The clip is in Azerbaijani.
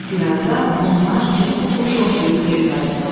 Bir azdan onlar çoxlu quş ovlayıb geri qayıtdılar.